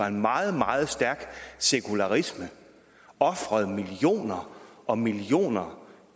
en meget meget stærk sekularisme ofrede millioner og millioner